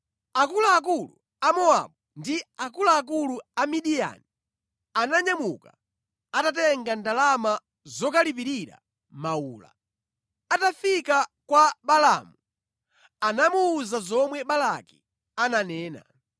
Akuluakulu a Mowabu ndi akuluakulu a Midiyani ananyamuka atatenga ndalama zokalipirira mawula. Atafika kwa Balaamu, anamuwuza zomwe Balaki ananena.